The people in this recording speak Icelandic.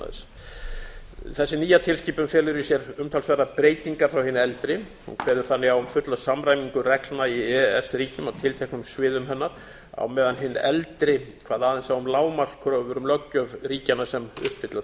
orlofshúsnæðis þessi nýja tilskipun felur í sér umtalsverðar breytingar frá hinni eldri hún kveður þannig á um fulla samræmingu reglna í e e s ríkjum á tilteknum sviðum hennar á meðan hin eldri kvað aðeins á um lágmarkskröfur um löggjöf ríkjanna sem uppfylla